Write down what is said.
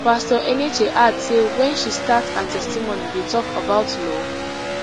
pastor enenche add say wen she start her testimony dey tok about law